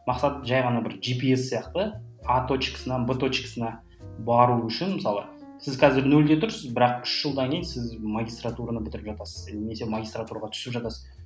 мақсат жай ғана бір жпс сияқты а точкасынан б точкасына бару үшін мысалы сіз қазір нөлде тұрсыз бірақ үш жылдан кейін сіз магистартураны бітіріп жатасыз немесе магистратураға түсіп жатасыз